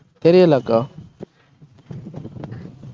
தெரியலை அக்கா